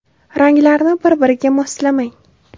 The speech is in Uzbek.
Ranglarni bir-biriga moslamang.